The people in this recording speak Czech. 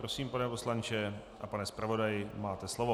Prosím, pane poslanče a pane zpravodaji, máte slovo.